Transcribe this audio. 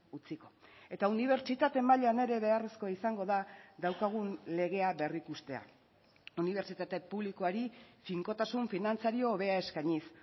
utziko eta unibertsitate mailan ere beharrezkoa izango da daukagun legea berrikustea unibertsitate publikoari finkotasun finantzario hobea eskainiz